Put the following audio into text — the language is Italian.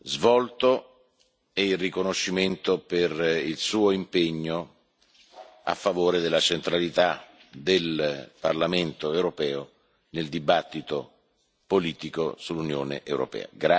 svolto e il riconoscimento per il suo impegno a favore della centralità del Parlamento europeo nel dibattito politico sull'Unione europea.